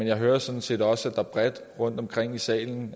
jeg hører sådan set også at der rundtomkring i salen